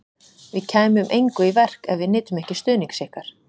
Við kæmum engu í verk, ef við nytum ekki stuðnings ykkar